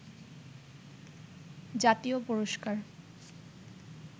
জাতীয় পুরস্কার